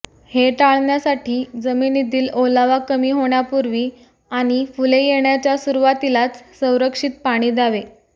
हे टाळण्यासाठी जमिनीतील ओलावा कमी होण्यापूर्वी आणि फुले येण्याच्या सुरवातीलाच संरक्षित पाणी द्यावे